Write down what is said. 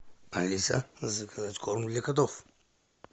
алиса заказать корм для котов